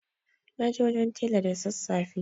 Na je wajen tela da sassafe.